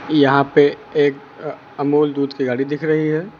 यहां पे एक अह अमूल दूध की गाड़ी दिख रही है।